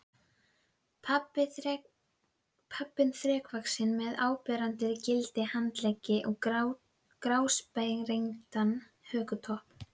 Pabbinn þrekvaxinn með áberandi gilda handleggi og grásprengdan hökutopp.